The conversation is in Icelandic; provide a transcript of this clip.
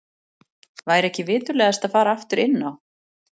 Væri ekki viturlegast að fara aftur inn á